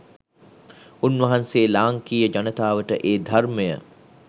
උන්වහන්සේ ලාංකීය ජනතාවට ඒ ධර්මය